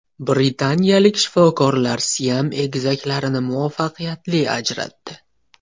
Britaniyalik shifokorlar siam egizaklarini muvaffaqiyatli ajratdi.